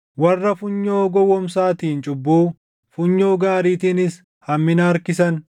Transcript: Warra funyoo gowwoomsaatiin cubbuu, funyoo gaariitiinis hammina harkisan,